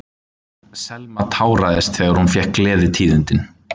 Selma táraðist þegar hún fékk gleðitíðindin.